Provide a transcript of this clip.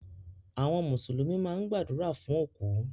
Àwọn mùsùlùmí máa gbàdúrà fún òkú.